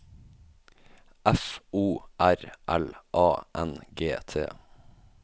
F O R L A N G T